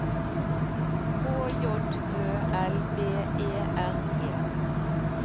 K J Ø L B E R G